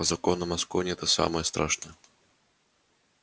по законам аскони это самое страшное